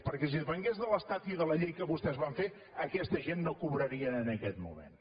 perquè si depengués de l’estat i de la llei que vostès van fer aquesta gent no cobrarien en aquest moment